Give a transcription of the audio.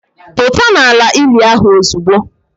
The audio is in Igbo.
Pụta n'ala ili ahụ ozugbo!